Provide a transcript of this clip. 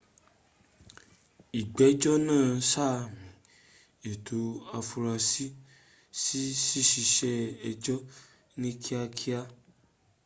ìgbẹ́jọ́ náa sàmí ẹ̀tọ́ afurasí sí ṣíṣe ęjọ́ ní kíá kíá